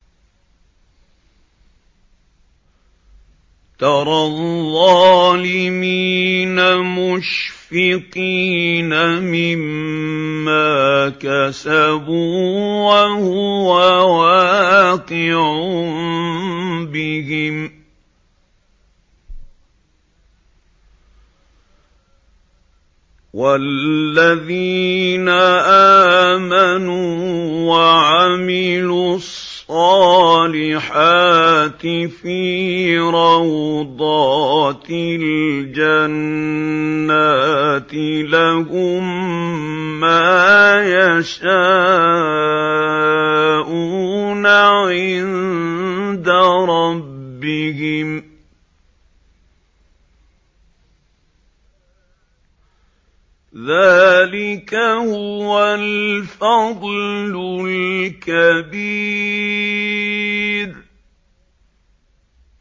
تَرَى الظَّالِمِينَ مُشْفِقِينَ مِمَّا كَسَبُوا وَهُوَ وَاقِعٌ بِهِمْ ۗ وَالَّذِينَ آمَنُوا وَعَمِلُوا الصَّالِحَاتِ فِي رَوْضَاتِ الْجَنَّاتِ ۖ لَهُم مَّا يَشَاءُونَ عِندَ رَبِّهِمْ ۚ ذَٰلِكَ هُوَ الْفَضْلُ الْكَبِيرُ